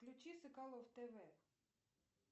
включи соколов тв